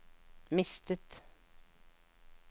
mistet